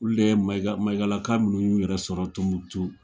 Olu de Mayigakaka ninnu yɛrɛ sɔrɔ Tɔnbukutu.